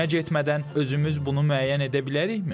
Həkimə getmədən özümüz bunu müəyyən edə bilərikmi?